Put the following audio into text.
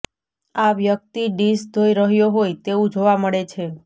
આ વ્યક્તિ ડિશ ધોઈ રહ્યો હોય તેવું જોવા મળે છે